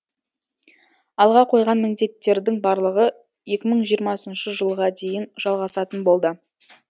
алға қойған міндеттердің барлығы екі мың жиырмасыншы жылға дейін жалғасатын болды